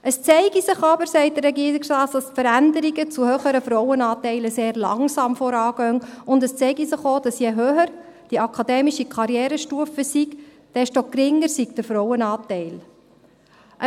Es zeige sich aber, sagt der Regierungsrat, dass die Veränderungen zu höheren Frauenanteilen sehr langsam vorangingen, und es zeige sich auch, dass je höher die akademische Karrierestufe, desto geringer der Frauenanteil sei.